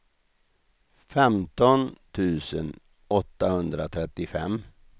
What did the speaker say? femton tusen åttahundratrettiofem